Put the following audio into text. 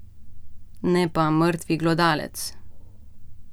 Ne pa mrtvi glodalec ...